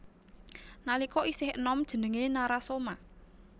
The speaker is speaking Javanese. Nalika isih enom jenengé Narasoma